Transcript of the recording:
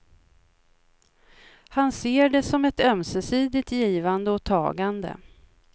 Han ser det som ett ömsesidigt givande och tagande.